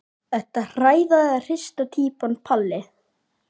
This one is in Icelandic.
Ertu hrærða eða hrista týpan Palli?